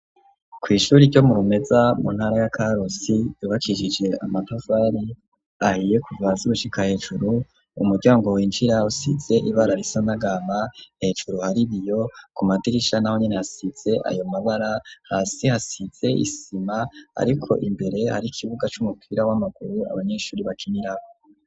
Kw'ishuri ryo murumeza, muntara ya karusi ,yubakisije amatafari ahiye ,kuva hasi gushika hejuru ,umuryango winjira usize ibara risa n'agahama, hejuru haribiyo ku madirisha na ho nyine hasize ayo mabara, hasi hasize isima, ariko imbere hari ikibuga c'umupira w'amaguru abanyeshuri bakinirako.